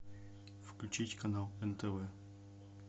включить канал нтв